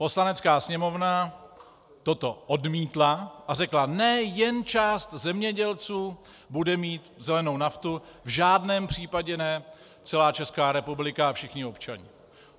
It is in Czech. Poslanecká sněmovna toto odmítla a řekla: Ne, jen část zemědělců bude mít zelenou naftu, v žádném případě ne celá Česká republika a všichni občané.